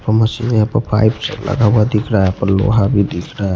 पर मशीन यहां पर पाइप लगा हुआ दिख रहा है यहा पर लोहा भी दिख रहा है।